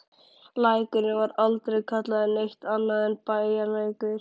Lækurinn var aldrei kallaður neitt annað en Bæjarlækur.